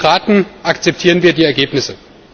Aber als Demokraten akzeptieren wir die Ergebnisse.